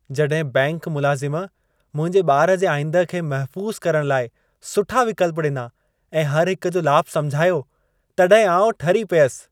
जॾहिं बैंकि मुलाज़िम मुंहिंजे ॿार जे आईंदह खे महफ़ूज़ु करणु लाइ सुठा विकल्प ॾिना ऐं हर हिक जो लाभु समुझायो, तॾहिं आउं ठरी पियसि।